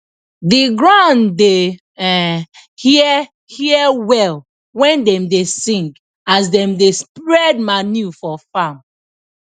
the ground da um hear hear well when dem da sing as dem da spred manure for farm